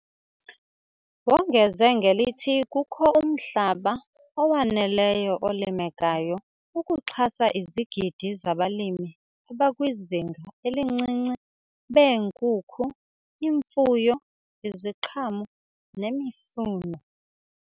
Wongeze ngelithi kukho umhlaba owaneleyo olimekayo ukuxhasa izigidi zabalimi abakwizinga elincinci beenkukhu, imfuyo, iziqhamo nemifuno.